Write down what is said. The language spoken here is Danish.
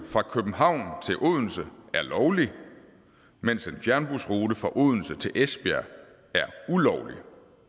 fra københavn til odense er lovlig mens en fjernbusrute fra odense til esbjerg er ulovlig